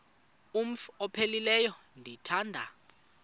umf ophaphileyo ndithanda